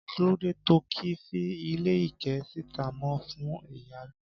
kí ló De to ki fi ile ike sita mo fún iyalo